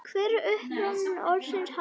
Hver er uppruni orðsins hafsent?